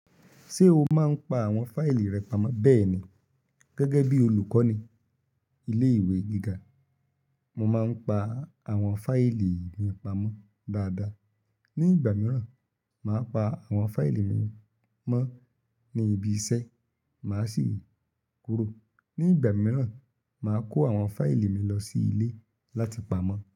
Ṣé o máa ń pa àwọn fáìlì rẹ pamọ́? Bẹ́ẹ̀ ni, gẹ́gẹ́ bí olùkọ́ni ilé ìwé gíga, mo máa ń pa àwọn fáìlì mi pamọ́ dáadáa. Ni ìgbà mìíràn, màá pa àwọn fáìlì mi mọ́ ní ibi iṣẹ́, màá sì kúrò. Ṣé o máa ń pa àwọn fáìlì rẹ pamọ́?